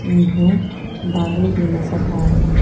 इन्हे बालू भी नजर आ रहे।